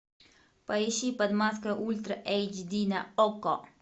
поищи под маской ультра эйч ди на окко